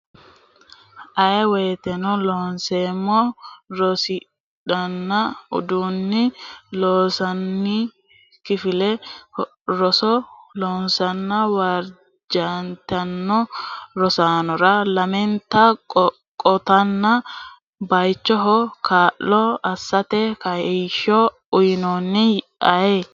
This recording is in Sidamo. Aye woteno Loonseemmo rosiisidhanna addinni Loossinanni kifile roso loossanna wirrijjantanno rosaanora lamenta qotanna baychoho kaa lo assate kaayyo uytanno Aye.